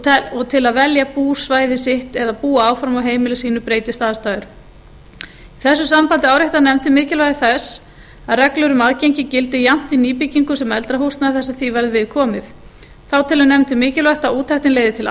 og til að velja búsvæði sitt eða búa áfram á heimili sínu breytist aðstæður í þessu sambandi áréttar nefndin mikilvægi þess að reglur um aðgengi gildi jafnt í nýbyggingum sem eldra húsnæði þar sem því verður við komið þá telur nefndin mikilvægt að úttektin leiði til